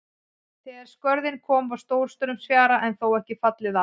Þegar í Skörðin kom var stórstraumsfjara en þó ekki fallið út allt.